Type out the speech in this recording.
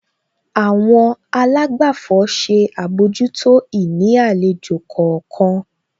Àwọn àlágbàfọ̀ ṣe àbójútó ìní àlejò kọ̀ọ̀kan.